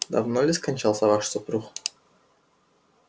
давно ли скончался ваш супруг